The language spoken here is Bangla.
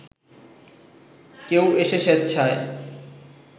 কেউ এসে স্বেচ্ছায়